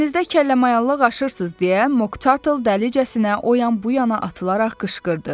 Dənizdə kəlləmayalıq aşırırsız deyə Mok Tartle dəlicəsinə o yan-bu yana atılaraq qışqırdı.